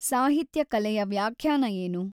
ಸಾಹಿತ್ಯ ಕಲೆಯ ವ್ಯಾಖ್ಯಾನ ಏನು?